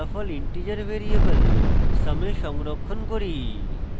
ফলাফল integer variable sum এ সংরক্ষণ করি